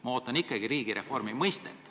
Ma ootan ikkagi reformi mõistet.